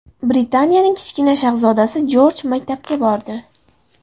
Britaniyaning kichkina shahzodasi Jorj maktabga bordi.